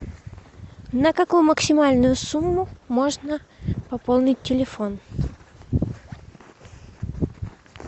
на какую максимальную сумму можно пополнить телефон